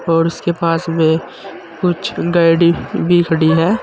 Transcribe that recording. और उसके पास में कुछ गाड़ी भी खड़ी है।